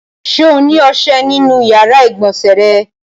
Ṣé ó ní ọṣẹ nínú ìyàrá-ìgbọ̀nsẹ̀ rẹ?